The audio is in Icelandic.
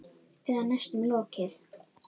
Eða næstum lokið.